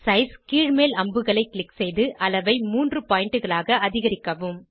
size கீழ்மேல் அம்புகளை click செய்து அளவை மூன்று பாயிண்ட் களாக அதிகரிக்கவும்